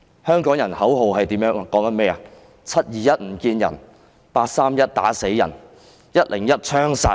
香港人的口號是 ，"721 不見人 ，831 打死人 ，101 槍殺人"。